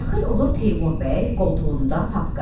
Daxil olur Teymur bəy, qoltuğunda papka.